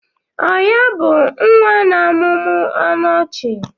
O ya bụ nwa na-amụmụ ọnụ ọchị?